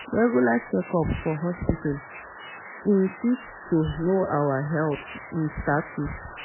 Regular checkup for hospital um fit help to know our health um status